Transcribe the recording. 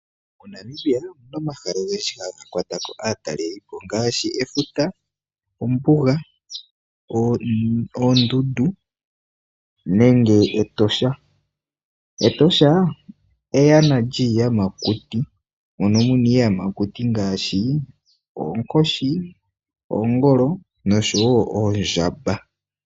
MoNamibia omuna omahala ogendji haga kwata ko aataleli po ongaashi efuta, ombuga, oondundu nenge Etosha. Etosha eyana lyiiyamakuti mono muna iiyamakuti ngaashi oonkoshi, oongolo noshowo oondjamba.